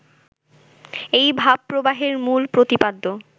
এই ভাবপ্রবাহের মূল প্রতিপাদ্য